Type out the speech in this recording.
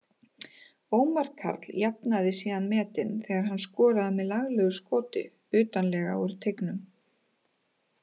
Ómar Karl jafnaði síðan metin þegar hann skoraði með laglegu skoti utarlega úr teignum.